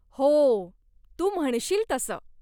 हो, तू म्हणशील तसं.